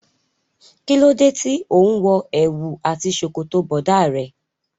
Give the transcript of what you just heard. Kí ló dé tí òun wo èwù àti ṣòkòtò bọ̀dá rẹ.